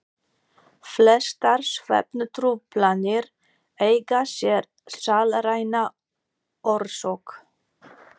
Flestar svefntruflanir eiga sér sálræna orsök.